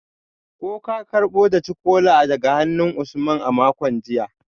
Ko ka karbo daci-kola daga hannun Usman a makon jiya?